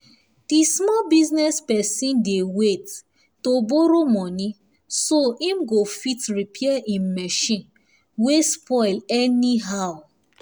di small business person dey wait to borrow money so im go fit repair im machine wey spoil anyhow